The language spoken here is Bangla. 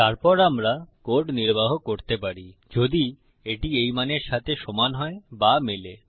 তারপর আমরা কোড নির্বাহ করতে পারি যদি এটি এই মানের সাথে সমান হয় বা মেলে